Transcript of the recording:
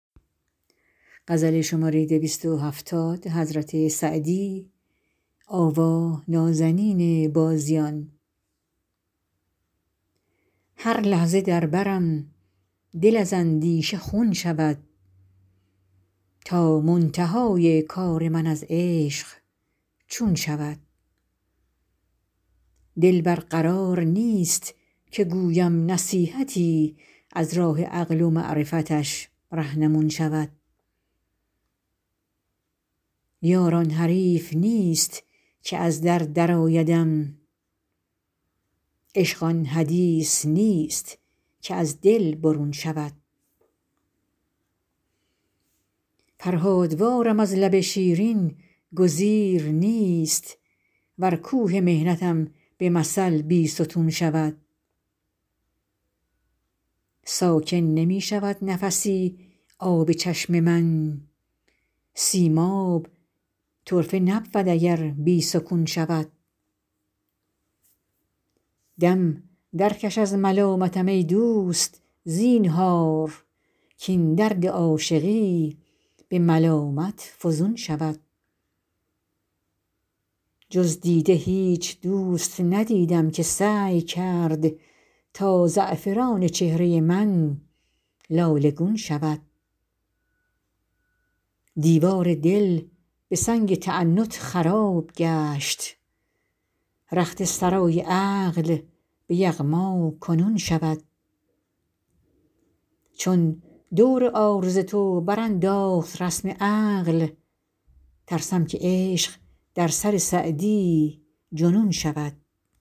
هر لحظه در برم دل از اندیشه خون شود تا منتهای کار من از عشق چون شود دل بر قرار نیست که گویم نصیحتی از راه عقل و معرفتش رهنمون شود یار آن حریف نیست که از در درآیدم عشق آن حدیث نیست که از دل برون شود فرهادوارم از لب شیرین گزیر نیست ور کوه محنتم به مثل بیستون شود ساکن نمی شود نفسی آب چشم من سیماب طرفه نبود اگر بی سکون شود دم درکش از ملامتم ای دوست زینهار کاین درد عاشقی به ملامت فزون شود جز دیده هیچ دوست ندیدم که سعی کرد تا زعفران چهره من لاله گون شود دیوار دل به سنگ تعنت خراب گشت رخت سرای عقل به یغما کنون شود چون دور عارض تو برانداخت رسم عقل ترسم که عشق در سر سعدی جنون شود